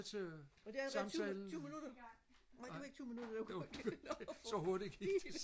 var det allerede tyve minutter nej det var ikke tyve minutter det var godt